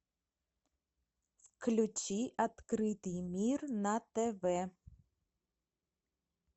включи открытый мир на тв